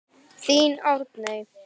Þín Arney.